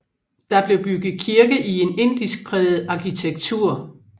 Der blev bygget kirke i en indisk præget arkitektur